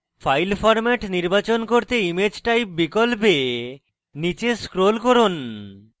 file format নির্বাচন করতে image type বিকল্পে নীচে scroll করুন